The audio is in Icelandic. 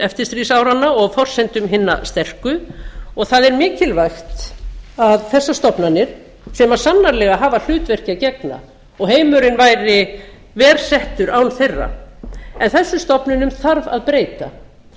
eftirstríðsáranna og á forsendum hinna sterku og það er mikilvægt að þessar stofnanir sem sannarlega hafa hlutverki að gegna og heimurinn væri verr settur án þeirra en þessum stofnunum þarf að breyta